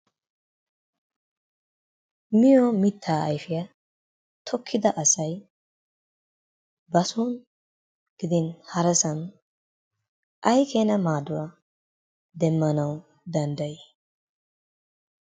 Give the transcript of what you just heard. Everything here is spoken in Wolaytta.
Miyo mittaa ayfiya tokkida asay bason gidin harasan ay keena maaduwa demmanawu danddayii?